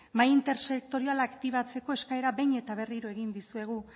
mahai intersektoriala aktibatzeko eskaera behin eta berriro egin dizuegu